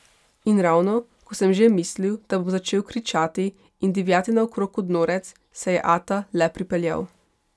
In ravno ko sem že mislil, da bom začel kričati in divjati naokrog kot norec, se je ata le pripeljal.